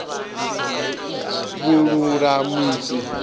vhululamisi